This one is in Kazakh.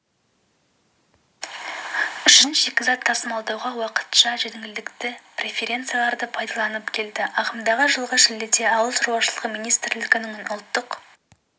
үшін шикізат тасымалдауда уақытша жеңілдікті преференцияларды пайдаланып келді ағымдағы жылғы шілдеде ауыл шаруашылығы министрлігінің ұлттық